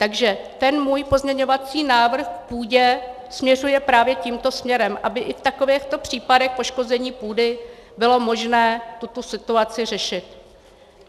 Takže ten můj pozměňovací návrh k půdě směřuje právě tímto směrem, aby i v takovýchto případech poškození půdy bylo možné tuto situaci řešit.